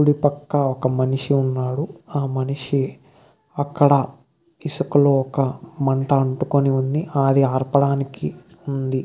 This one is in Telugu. కుడి పక్క ఒక మనిషి ఉన్నాడు. ఆ మనిషి అక్కడ ఇసుకలో ఒక మంట అంటుకుని ఉంది. అది ఆర్పటానికి ఉంది.